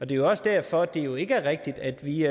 det er også derfor at det jo ikke er rigtigt at vi